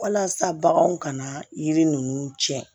Walasa baganw kana yiri ninnu tiɲɛ